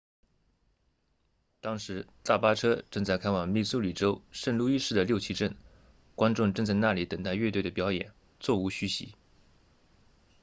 当时大巴车正在开往密苏里州圣路易市的六旗镇观众正在那里等待乐队的表演座无虚席